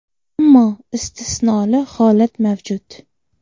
Ammo istisnoli holat mavjud.